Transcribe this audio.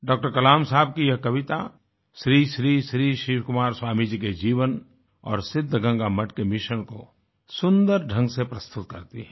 doctor Kalam साहब की यह कविता श्री श्री श्री शिवकुमार स्वामी जी के जीवन और सिद्धगंगा मठ के मिशन को सुन्दर ढंग से प्रस्तुत करती है